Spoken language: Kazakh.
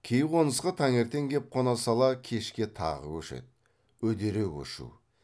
кей қонысқа таңертең кеп қона сала кешке тағы көшеді үдере көшу